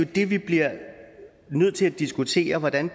det vi bliver nødt til at diskutere hvordan